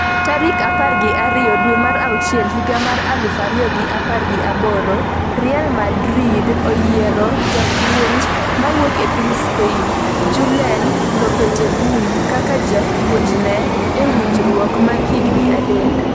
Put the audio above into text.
tarik par gi ariyo dwe mar auchiel higa mar aluf ariyo gi apar gi aboro Real Madrid oyiero japuonj mawuok e piny Spain, Julen Lopetegui kaka japuonjne e winjruok mar higni adek.